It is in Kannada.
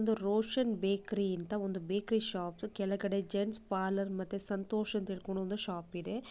ಒಂದು ರೋಷನ್ ಬೇಕರಿ ಅಂತ ಒಂದು ಬೇಕ್ರಿ ಶಾಪ್ ಕೆಳಗಡೆ ಜೆಂಟ್ಸ್ ಪಾರ್ಲರ್ ಮತ್ತೆ ಸಂತೋಷ್ ಅಂತ ಹೇಳ್ಕೊಂಡ್ ಒಂದು ಶಾಪ್ ಇದೆ.